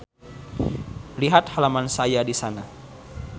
Lihat halaman saya disana.